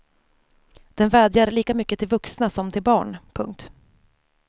Den vädjar lika mycket till vuxna som till barn. punkt